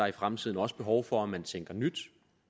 i fremtiden også behov for at man tænker nyt